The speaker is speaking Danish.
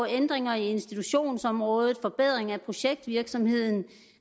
ændringer i institutionsområdet forbedring af projektvirksomheden